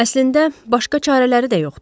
Əslində başqa çarələri də yoxdur.